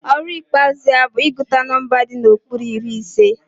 Ọrụ ikpeazụ ya bụ ịgụta nọmba di n'okpuru iri ise